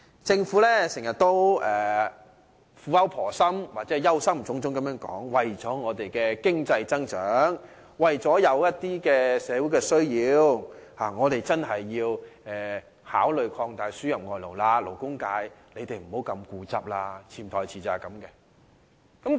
政府經常苦口婆心或憂心忡忡地表示，為了香港的經濟增長，為了社會的需要，我們真的應考慮擴大輸入外勞，勞工界不應太固執。